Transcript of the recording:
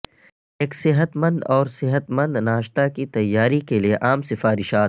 ایک صحت مند اور صحت مند ناشتا کی تیاری کے لئے عام سفارشات